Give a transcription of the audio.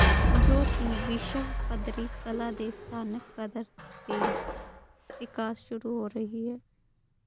ਜੋ ਕਿ ਵਿਸ਼ਵ ਪੱਧਰੀ ਕਲਾ ਦੇ ਸਥਾਨਕ ਕਦਰ ਦੇ ਵਿਕਾਸ ਸ਼ੁਰੂ ਹੋ ਰਹੀ ਹੈ